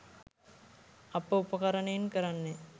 අප උපකරණයෙන් කරන්නේ